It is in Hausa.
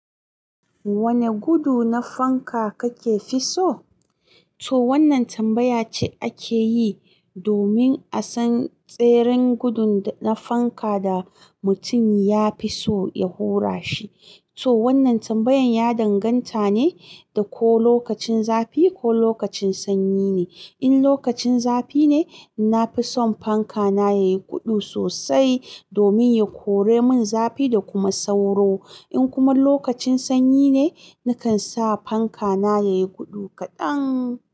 Wane gudu na fanka kakefi so? To wannan tambaya ce ake yi domin a san tseren gudun na fanka da mutum ya fi so ya hura shi. To wannan tambayan ya danganta ne da ko lokacin zafi ko lokacin sanyi ne. In lokacin zafi ne, na fi son fanka na yayi gudu sosai domin ya kore min zafi da kuma sauro. In kuma lokacin sanyi ne, nakan sa fanka na yayi gudu kaɗan.